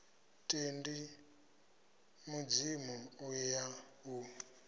tendi mudzimu u ya u